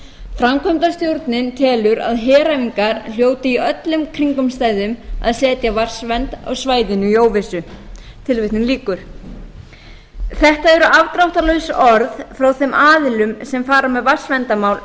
framkvæmdastjórnin telur að heræfingar hljóti í öllum kringumstæðum að setja vatnsvernd á svæðinu í óvissu tilvitnun lýkur þetta eru afdráttarlaus orð frá þeim aðilum sem fara með vatnsverndarmál